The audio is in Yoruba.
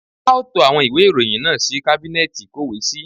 A ó to àwọn ìwé ìròyìn náà sí kábínẹ́ẹẹ̀tì ìkówèésí